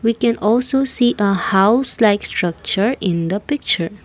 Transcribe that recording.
we can also see a house likes structure in the picture.